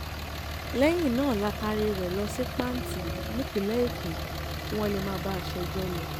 lẹ́yìn náà la taaré rẹ̀ lọ sí panti nípínlẹ̀ èkó kí wọ́n lè máa bá a ṣẹjọ́ lọ